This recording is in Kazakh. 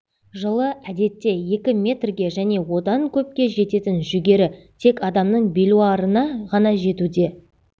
жылы әдетте екі метрге және одан көпке жететін жүгері тек адамның белуарына ғана жетуде